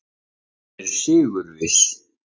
Hann er sigurviss.